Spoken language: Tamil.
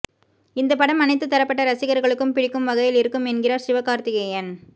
இந்த படம் அனைத்து தரப்பட்ட ரசிகர்களுக்கும் பிடிக்கும் வகையில் இருக்கும் என்கிறார் சிவகார்த்திகேயன்